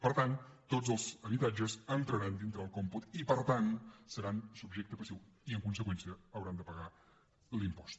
per tant tots els habitatges entraran dintre del còmput i per tant seran subjecte passiu i en conseqüència hauran de pagar l’impost